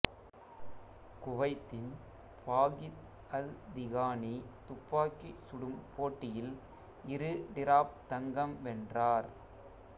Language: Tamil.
குவைத்தின் பாகித்அல்திகானி துப்பாக்கி சுடும் போட்டியில் இரு டிராப் தங்கம் வென்றார்